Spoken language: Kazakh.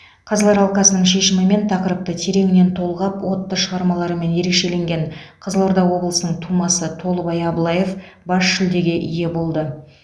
қазылар алқасының шешімімен тақырыпты тереңінен толғап отты шығармаларымен ерекшеленген қызылорда облысының тумасы толыбай абылаев бас жүлдеге ие болды